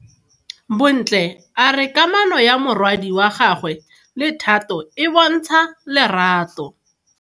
Bontle a re kamano ya morwadi wa gagwe le Thato e bontsha lerato.